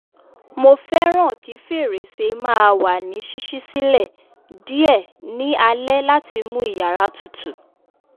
mo fẹràn kí fèrèsé máa wà ní ṣiṣi silẹ diẹ ní alé láti mú iyàrá tutù